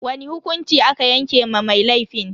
Wani hukunci aka yanke wa mai laifin?